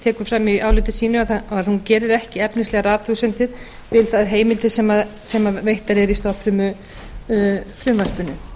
tekur fram í áliti sínu að hún gerir ekki efnislegar athugasemdir við þær heimildir sem veittar eru í stofnfrumufrumvarpinu